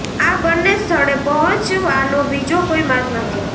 આ બંને સ્થળે પહોંચવાનો બીજો કોઈ માર્ગ નથી